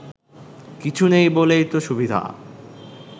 কিছু নেই বলেই তো সুবিধা